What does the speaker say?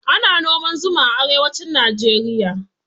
Ana noman zuma a arewacin najeriya